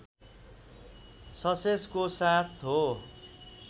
ससेजको साथ हो